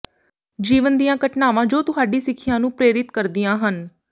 ਜੀਵਨ ਦੀਆਂ ਘਟਨਾਵਾਂ ਜੋ ਤੁਹਾਡੀ ਸਿੱਖਿਆ ਨੂੰ ਪ੍ਰੇਰਿਤ ਕਰਦੀਆਂ ਹਨ